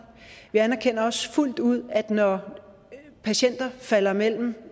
vi anerkender også fuldt ud at når patienter falder mellem